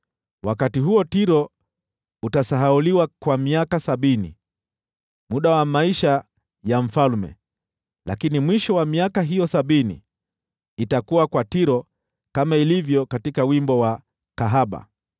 Wakati huo Tiro utasahauliwa kwa miaka sabini, muda wa maisha ya mfalme. Lakini mwisho wa miaka hiyo sabini, itakuwa kwa Tiro kama ilivyo katika wimbo wa kahaba: